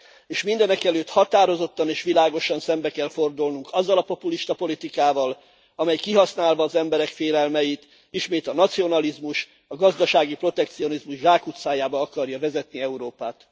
És mindenekelőtt határozottan és világosan szembe kell fordulnunk azzal a populista politikával, amely kihasználva az emberek félelmeit ismét a nacionalizmus, a gazdasági protekcionizmus zsákutcájába akarja vezetni Európát.